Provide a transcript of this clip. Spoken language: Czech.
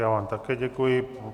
Já vám také děkuji.